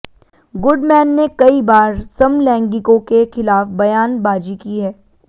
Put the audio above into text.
Goodman ने कई बार समलैंगिकों के खिलाफ बयान बाजी की है